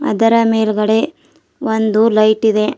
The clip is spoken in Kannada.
ಇದರ ಮೇಲ್ಗಡೆ ಒಂದು ಲೈಟ್ ಇದೆ.